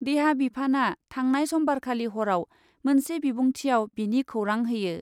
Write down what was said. देहा बिफानआ थांनाय समबारखालि हराव मोनसे बिबुंथिआव बेनि खौरां होयो ।